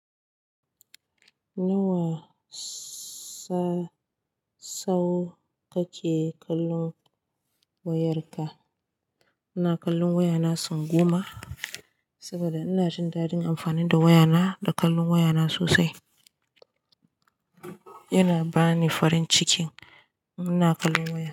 Nawa sa sau kake kallon wayarka? Ina kallon wayana sau goma, saboda ina jin dadin amfani da wayana da kallon wayana sosai. Yana bani farin cikin in ina kallon waya.